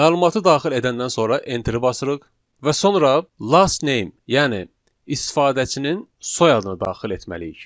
Məlumatı daxil edəndən sonra enterə basırıq və sonra last name, yəni istifadəçinin soyadını daxil etməliyik.